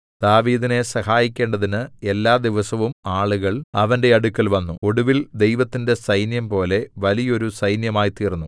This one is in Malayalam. ദാവീദിനെ സഹായിക്കേണ്ടതിന് എല്ലാ ദിവസവും ആളുകൾ അവന്റെ അടുക്കൽ വന്നു ഒടുവിൽ ദൈവത്തിന്റെ സൈന്യംപോലെ വലിയോരു സൈന്യമായ്തീൎന്നു